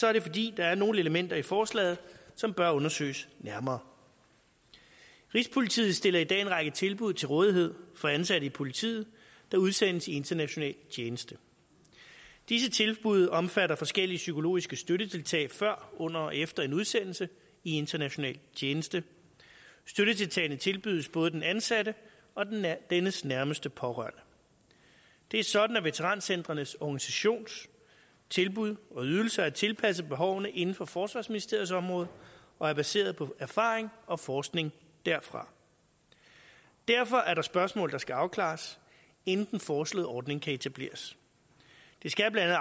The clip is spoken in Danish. er det fordi der er nogle elementer i forslaget som bør undersøges nærmere rigspolitiet stiller i dag en række tilbud til rådighed for ansatte i politiet der udsendes i international tjeneste disse tilbud omfatter forskellige psykologiske støttetiltag før under og efter en udsendelse i international tjeneste støttetiltagene tilbydes både den ansatte og dennes nærmeste pårørende det er sådan at veterancentrenes organisations tilbud og ydelser er tilpasset behovene inden for forsvarsministeriets område og er baseret på erfaring og forskning derfra derfor er der spørgsmål der skal afklares inden den foreslåede ordning kan etableres det skal blandt